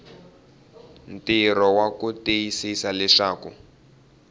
ntirho wa ku tiyisisa leswaku